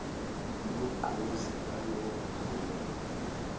nogqozi ngalowo mphumela